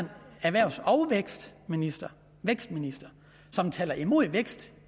erhvervs og vækstminister vækstminister som taler imod vækst